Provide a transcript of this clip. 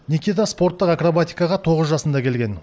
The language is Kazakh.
никита спорттық акробатикаға тоғыз жасында келген